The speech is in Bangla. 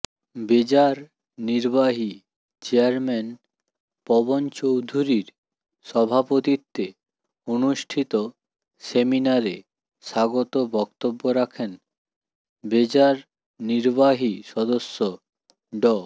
বেজার নির্বাহী চেয়ারম্যান পবন চৌধুরীর সভাপতিত্বে অনুষ্ঠিত সেমিনারে স্বাগত বক্তব্য রাখেন বেজার নির্বাহী সদস্য ড